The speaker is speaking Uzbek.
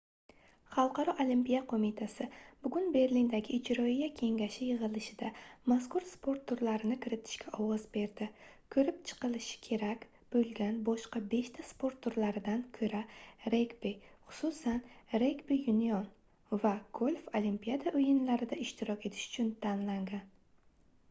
xalqaro olimpiya qoʻmitasi bugun berlindagi ijroiya kengashi yigʻilishida mazkur sport turlarini kiritishga ovoz berdi koʻrib chiqilishi kerak boʻlgan boshqa beshta sport turlaridan koʻra regbi xususan regbi yunion va golf olimpiada oʻyinlarida ishtirok etish uchun tanlangan